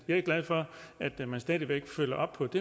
jeg er glad for at man stadig væk følger op på det